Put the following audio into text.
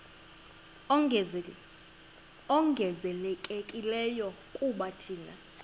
ongezelelekileyo kuba thina